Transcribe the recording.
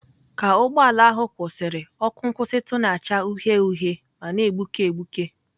Ka ụgbọ ala ahụ kwụsịrị, ọkụ nkwụsịtụ na-acha uhie uhie ma na-egbuke egbuke.